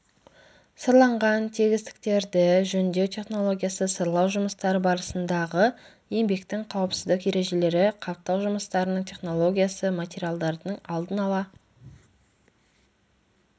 сырланған тегістіктерді жөндеу технологиясы сырлау жұмыстары барысындағы еңбектің қауіпсіздік ережелері қаптау жұмыстарының технологиясы материалдардың алдын ала